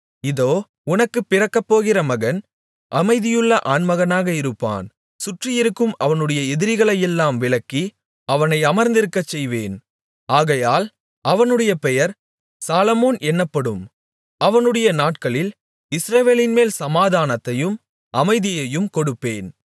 இதோ உனக்குப் பிறக்கப்போகிற மகன் அமைதியுள்ள ஆண்மகனாக இருப்பான் சுற்றி இருக்கும் அவனுடைய எதிரிகளையெல்லாம் விலக்கி அவனை அமர்ந்திருக்கச் செய்வேன் ஆகையால் அவனுடைய பெயர் சாலொமோன் என்னப்படும் அவனுடைய நாட்களில் இஸ்ரவேலின்மேல் சமாதானத்தையும் அமைதியையும் கொடுப்பேன்